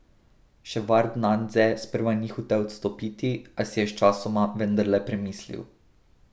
Ševardnadze sprva ni hotel odstopiti, a si je sčasoma vendarle premislil.